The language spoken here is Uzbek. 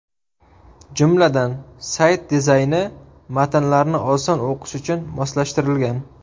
Jumladan, sayt dizayni matnlarni oson o‘qish uchun moslashtirilgan.